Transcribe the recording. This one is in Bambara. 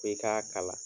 F'i k'a kala